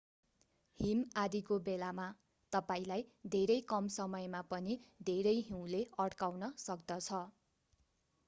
हिम आँधीको बेलामा तपाईंलाई धेरै कम समयमा पनि धेरै हिउँले अड्काउन सक्दछ